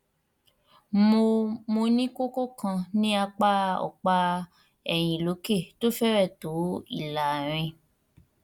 mo mo ní kókó kan ní apá ọpá ẹyìn lókè tó fẹrẹẹ tó ìlàrin